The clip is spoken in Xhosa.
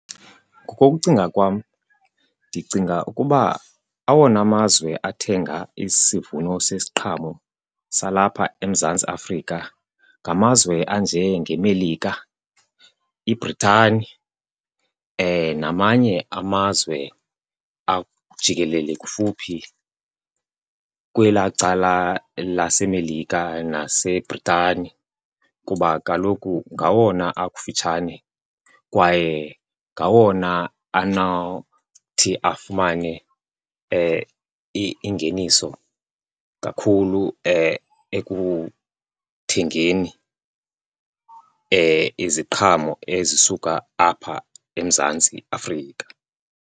Ngokokucinga kwam, ndicinga ukuba awona mazwe athenga isivuno sesiqhamo salapha eMzantsi Afrika ngamazwe anjengeMelika, iBrithani, namanye amazwe jikelele kufuphi kwelaa cala laseMelika naseBrithani. Kuba kaloku ngawona akufutshane kwaye ngawona anawuthi afumane ingeniso kakhulu ekuthengeni iziqhamo ezisuka apha eMzantsi Afrika.